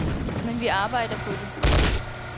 Men vi arbejder på det.